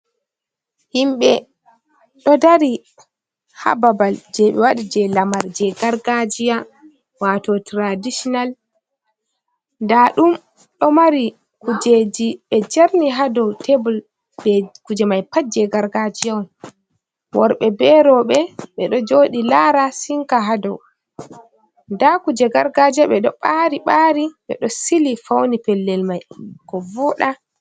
Himɓɓe ɗo dari ha babal je ɓe wadi je lamar je gargajiya wato traditinal, nda ɗum ɗo mari kujeji ɓe jarni ha dow tebol kuje mai pat je gargajiya on worɓe be roɓɓe ɓeɗo jodi lara sinka ha dow nda kuje gargajiya ɓeɗo ɓari ɓari ɓeɗo sili fauni pellel mai ko voda.